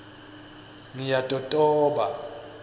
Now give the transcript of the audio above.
ngiyatotoba